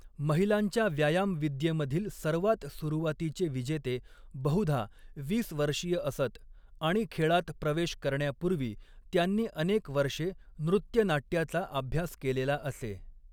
महिलांच्या व्यायामविद्येमधील सर्वात सुरुवातीचे विजेते बहुधा वीस वर्षीय असत आणि खेळात प्रवेश करण्यापूर्वी त्यांनी अनेक वर्षे नृत्यनाट्याचा अभ्यास केलेला असे.